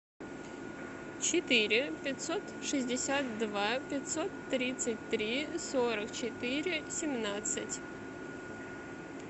четыре пятьсот шестьдесят два пятьсот тридцать три сорок четыре семнадцать